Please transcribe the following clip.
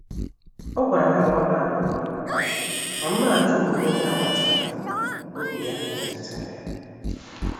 O gwara ha na ọ na-apụ n’ụlọ, ma mmeghachi omume onye agbata obi ya metu tara ya.